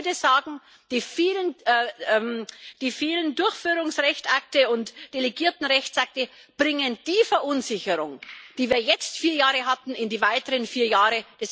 Ich würde sagen Die vielen Durchführungsrechtsakte und delegierten Rechtsakte bringen die Verunsicherung, die wir jetzt vier Jahre hatten, in die nächsten vier Jahre.